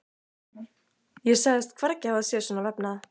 Ég sagðist hvergi hafa séð svona vefnað.